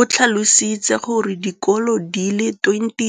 o tlhalositse gore dikolo di le 20